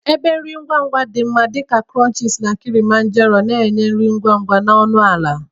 Ebe ana ere nri ngwa ngwa dị ka krunchisi na Kilimanjaro na-enye nri ngwa ngwa na ọnụ ala.